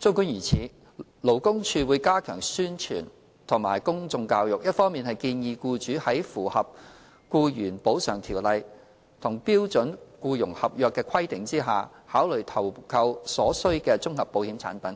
儘管如此，勞工處會加強宣傳和公眾教育，一方面建議僱主在符合《僱員補償條例》和標準僱傭合約的規定下，考慮投購所需的綜合保險產品；